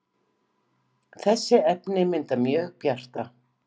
þessi efni mynda mjög bjarta